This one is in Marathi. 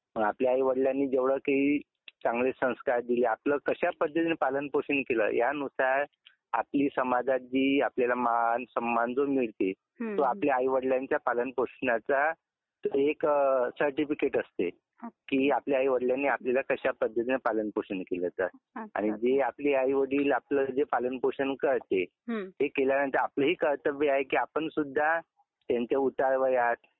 मग आपल्या आईवडीलांनी जेव्हढे काही चांगले संस्कार दिले आपल कश्या पद्धतीने पालन पोषण केल या नुसार आपली समाजाची, आपल्याला मान -सन्मान जो मिळते तो आपल्या याऐवडीलांची पालन पोषनाचे एक प्रकारचे सर्टिफिकेट असते की आपल्या आईवडीलांनी आपल्याला कश्या पद्धतीने पालन पोषण केल. आणि जे आपले आई वडील पालन पोषण करते, ते केल्या नंतर आपल ही कर्तव्य आहे की आपण सुद्धा त्यांच्या उतार वयात,